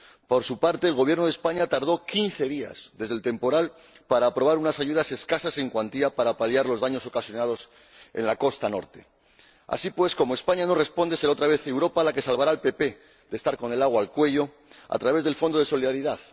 Por su parte, el Gobierno de España tardó quince días desde el temporal en aprobar unas ayudas escasas en cuantía para paliar los daños ocasionados en la costa norte. Así pues, como España no responde, será otra vez Europa la que salvará al Partido Popular de estar con el agua al cuello, a través del Fondo de Solidaridad.